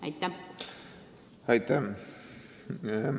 Aitäh!